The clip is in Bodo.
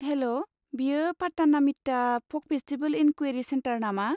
हेल' बेयो पाटानामिट्टा फक फेस्टिभेल इनकुवेरि चेन्टार नामा?